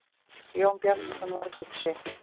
Jón Bjarnason varð hugsi.